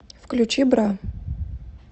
включи бра